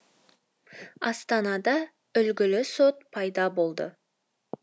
астанада үлгілі сот пайда болды